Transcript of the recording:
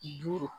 Du